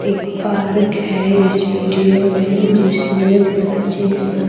एक पार्क है इस वीडियो में जिसमें बच्चे सब--